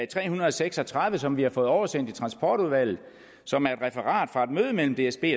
tre hundrede og seks og tredive som vi har fået oversendt i transportudvalget og som er et referat fra et møde mellem dsb